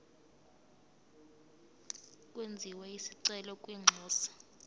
kwenziwe isicelo kwinxusa